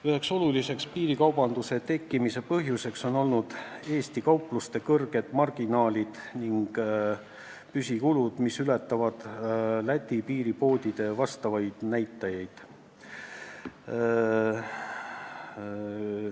Üks suur piirikaubanduse tekkimise põhjus on olnud Eesti kaupluste suured kasumimarginaalid ning püsikulud, mis ületavad teisel pool Läti piiri olevate poodide näitajaid.